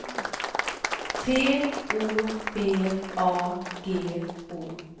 T O B A G O